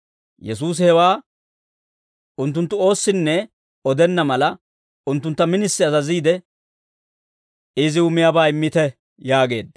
Yesuusi hewaa unttunttu oossinne odenna mala, unttuntta minisi azaziide, «Iziw miyaabaa immite» yaageedda.